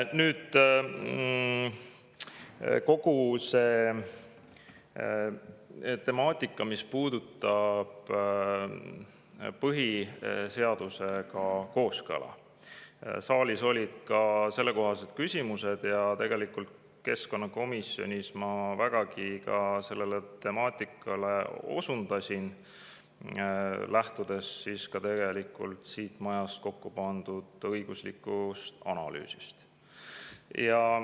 Nüüd, kogu see temaatika, mis puudutab põhiseadusega kooskõla, saalis olid ka sellekohased küsimused ja keskkonnakomisjonis ma vägagi sellele temaatikale osutasin, lähtudes ka siin majas kokku pandud õiguslikust analüüsist.